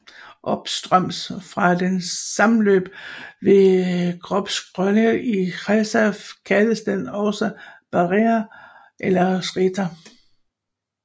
Opstrøms fra dens sammenløb med Gropșoarele i Cheia kaldes den også Berea eller Cheița